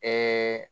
Ɛɛ